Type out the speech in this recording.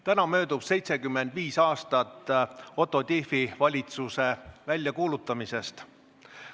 Täna möödub 75 aastat Otto Tiefi valitsuse ametisse astumisest.